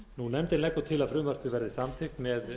nefndin leggur til að frumvarpið verði samþykkt með